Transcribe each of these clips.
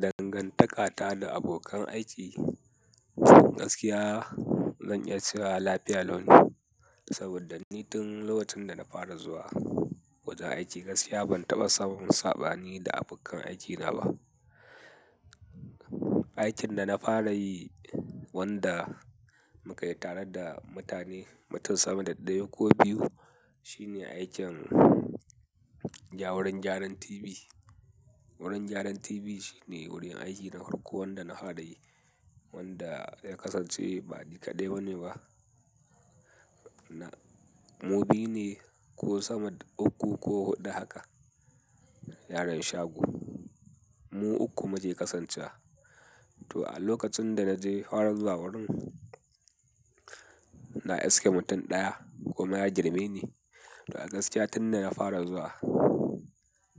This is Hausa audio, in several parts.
Dangantakata da abokan aiki, gaskiya ban iya cewa lafiya lau ne, saboda ni tun lokacin da na fara zuwa wajen aiki gaskiya ban taɓa samun sabani da abokan aikina ba. Aikin da na fara yi wanda muka yi tare da mutane mutum sama da ɗaya ko biyu shine aikin gya wurin gyaran TV. Wurin gyaran TV shine wurin aiki na farko wanda na fara yi wanda ya kasance ba nikade bane ba. Mu biyu ne ko sama uku ko huɗu haka yaran shago. Mu uku muke kasancewa. To a lokacin da na je fara zuwa wurin, na iske mutum ɗaya kuma ya girme ni. To a gaskiya tun da na fara zuwa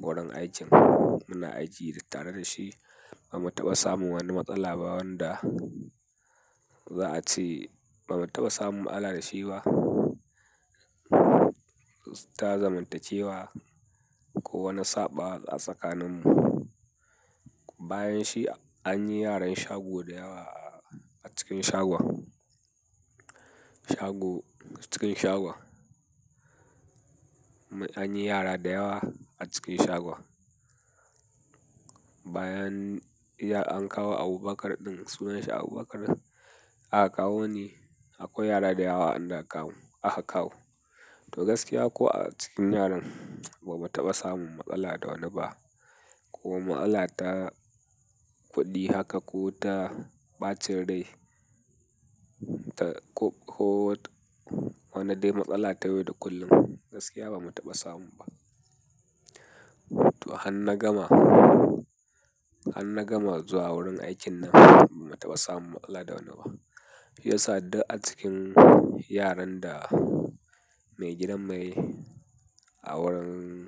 gurin aikin muna aiki tare da shi ba mu taɓa samun wani matsala ba wanda za a ce ba mu taɓa samun mu'alla da shi ba. Ta zamantacewa ko wani saɓawa a tsakaninmu. Bayanshi an yi yaran shago da yawa a cikin shagon. Shago cikin shagon. An yi yara da yawa a cikin shagon. Bayan an kawo Abubakar ɗin sunansa Abubakar, aka kawo ni akwai yara da yawa an da akawo, aka kawo. To gaskiya ko a cikin yaran ba mu taɓa samun matsala da wani ba ko matsala ta kuɗi haka ko ta ɓacin rai ta ko, ko wani dai matsala ta yau da kullum gaskiya ba mu taɓa samu ba. To hanna gama, hanna gama zuwa wurin aikin nan ba mu taɓa samun matsala da wani ba. Ya sa duk a cikin yaran da mai gidan mai a wurin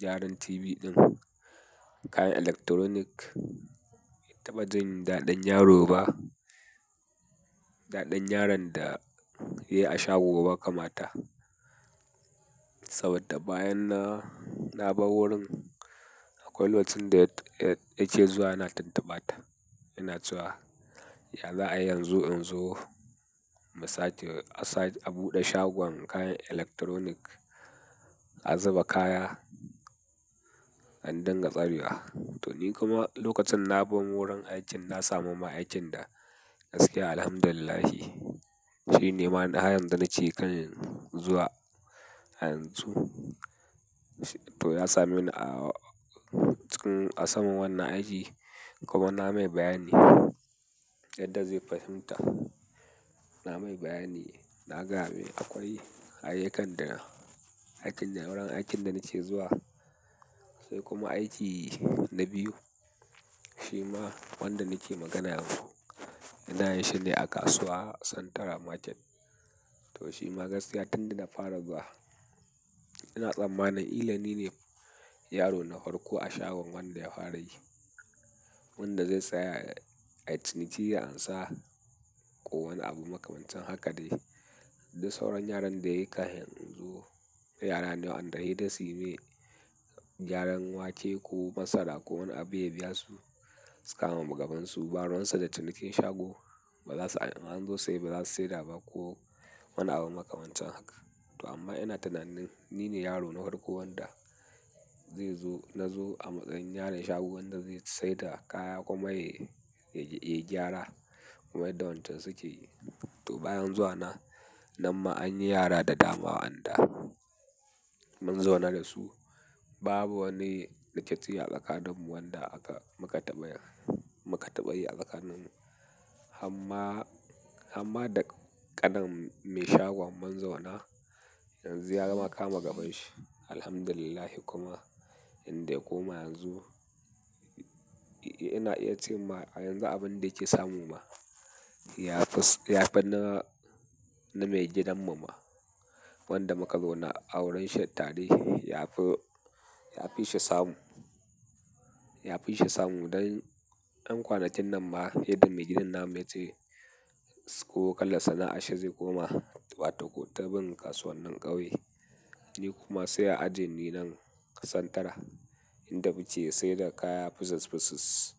gyaran TV ɗin kayan electronic bai taɓa jin daɗin yaro ba. Daɗin yaron da ya yi a shago ba kamata. Saboda bayan na, na bar wurin akwai lokacin da yake zuwa yana tuntubata. Yana cewa, "Ya za a yi yanzu in zo?" Mu sake, a sake a buɗe shagon kayan electronic a zuba kaya an dinga tsarewa. To ni kuma lokacin na bar wurin aikin na samu ma aikin da gaskiya. Alhamdulillahi. Shi ne ma na ha yanzu da nake kan zuwa a yanzu. To ya same ni a cikin a saman wannan aiki kuma na mai bayani yadda zai fahimta. Na mai bayani na gayamai akwai ayyukan da aikin da wurin aikin da nake zuwa sai kuma aiki na biyu. Shi ma wanda nake magana yanzu ina yi shi ne a kasuwa central Market. To shi ma gaskiya tun da na fara zuwa ina tsammanin ni ne yaro na farko a shagon wanda ya fara yi. Wanda zai tsaya ai ciniki ya ansa ko wani abu makamancin haka dai. Duk sauran yaran da yayi. Kafin in zo, yarane wanda sai dai suyi mai gyaran wake ko masara ko wani abu ya biya su suka kama gaban su. Baruwansu da cinikin shago ba za su ansa in anzo saye ba za su saida ba ko wani abu makamancin haka. To amma ina tunanin ni ne yaro na farko wanda zai zo na zo a matsayin yaron shagon wanda zai sayar da kaya kuma ya, ya, yai gyara kaman yadda wa yanchan suke yi. To bayan zuwa na, nan ma an yi yara da dama wa anda mun zauna da su. Babu wani rikici a tsakaninmu wanda aka muka taɓa yi, muka taɓa yi a tsakaninmu. Hamma, hamma da qanin mai shagon mun zauna yanzu ya kama gabanshi. Alhamdulillah kuma inda ya koma yanzu ina iya cewa ma yanzu abin da yake samu ma ya fi, ya fi na, na mai gidan mu ma wanda muka zauna a wurinshi tare ya fi, ya fi shi samu. Ya fi shi samu don ɗan kwanakin nan ma yadda mai gidan namu ya ce ko kalar sana'a shi zai koma wata ko tabin kasuwan nin ƙauye. Ni kuma sai a ajeni nan central inda muke sai da kaya pices pices.